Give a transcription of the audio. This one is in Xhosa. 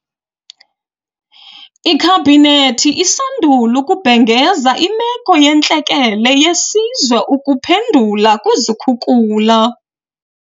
Ikhabhinethi isandula ukubhengeza Imeko yeNtlekele yeSizwe ukuphendula kwizikhukula.